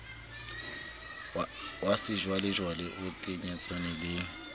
wa sejwalejwale o tenyetsehang le